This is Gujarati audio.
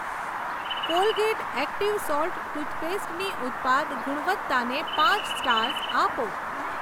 કોલગેટ એક્ટિવ સોલ્ટ ટૂથપેસ્ટની ઉત્પાદ ગુણવત્તાને પાંચ સ્ટાર્સ આપો.